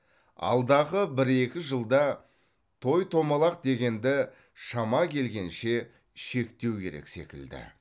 алдағы бір екі жылда той томалақ дегенді шама келгенше шектеу керек секілді